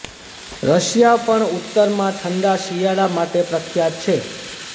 Russia પણ ઉત્તરમાં ઠંડા શિયાળા માટે પ્રખ્યાત છે